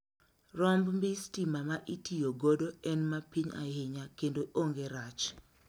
Romb mbii stima ma itiyo godo en ma piny ahinya kendo onge rach.